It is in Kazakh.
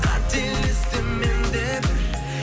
қателестім мен де бір